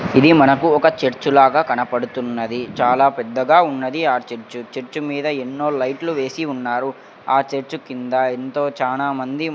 ఇది మనకు ఒక చర్చ్ లాగా కనపడుతున్నది చాలా పెద్దగా ఉన్నది ఆ చర్చ్ చర్చ్ మీద ఎన్నో లైట్లు వేసి ఉన్నారు ఆ చర్చ్ కింద ఎంతో చానామంది --